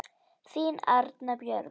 Þín Arna Björg.